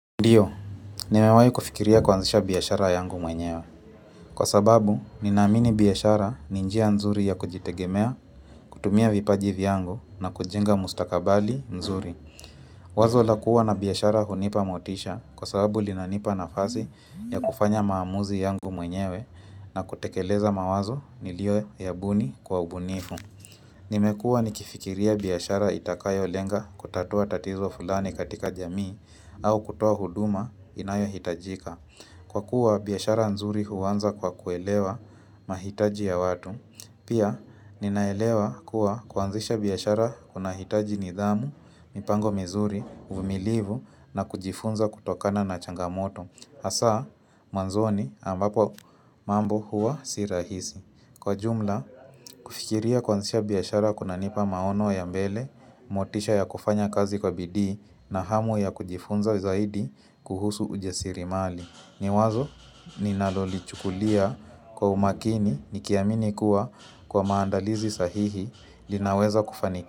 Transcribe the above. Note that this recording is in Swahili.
Ndiyo, nimewahi kufikiria kuanzisha biashara yangu mwenyewe. Kwasababu, ninaamini biashara ni njia nzuri ya kujitegemea, kutumia vipaji vyangu na kujenga mustakabali mzuri. Wazo la kuwa na biashara hunipa motisha kwasababu linanipa nafasi ya kufanya maamuzi yangu mwenyewe na kutekeleza mawazo niliyoyabuni kwa ubunifu. Nimekuwa nikifikiria biashara itakayolenga kutatua tatizo fulani katika jamii au kutoa huduma inayohitajika kwa kuwa biashara nzuri huanza kwa kuelewa mahitaji ya watu Pia ninaelewa kuwa kuanzisha biashara kunahitaji nidhamu, mipango mizuri, uvumilivu na kujifunza kutokana na changamoto hasa mwanzoni ambapo mambo huwa si rahisi. Kwa ujumla, kufikiria kuanzisha biashara kunanipa maono ya mbele, motisha ya kufanya kazi kwa bidii na hamu ya kujifunza zaidi kuhusu ujasiriamali. Ni wazo, ninalolichukulia kwa umakini nikiamini kuwa kwa maandalizi sahihi linaweza kufaniki.